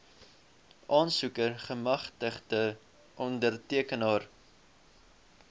aansoeker gemagtigde ondertekenaar